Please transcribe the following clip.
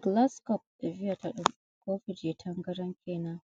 Gilaskop, ɓe viyata ɗum. kofi je tangaran kenan,